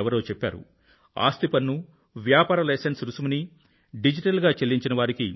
ఎవరో చెప్పారు ఆస్తి పన్ను మరియు వ్యాపార లైసెన్స్ రుసుమును డిజిటల్ గా చెల్లించినవారికి